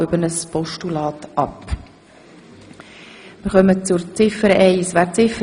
Der Motionär hat die Punkte 1 und 2 in ein Postulat gewandelt.